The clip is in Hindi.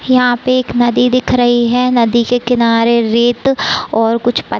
यहाँ पे एक नदी दिख रही है। नदी के किनारें रेत और कुछ पत्थ--